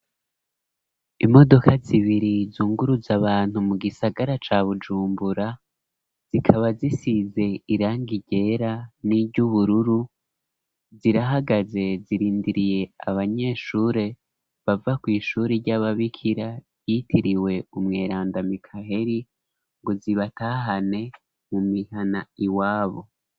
Imodoka zibiri zunguruze abantu mu gisagara ca bujumbura zikaba zisize irang igera n'iry'ubururu zirahagaze zirindiriye abanyeshure bava kw'ishure ry'ababikira ryitiriwe umweranda mikaheri ngo zibatahane mu mihana iwabo.